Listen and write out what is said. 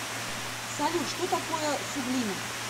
салют что такое суглинок